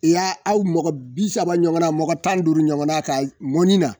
I y'a aw mɔgɔ bisaba ɲɔgɔnna mɔgɔ tan ni duuru ɲɔgɔnna ka mɔni na